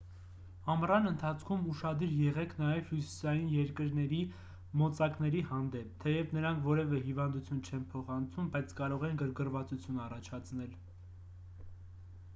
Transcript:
ամռան ընթացքում ուշադիր եղեք նաև հյուսիսային երկրների մոծակների հանդեպ թեև նրանք որևէ հիվանդություն չեն փոխանցում բայց կարող են գրգռվածություն առաջացնել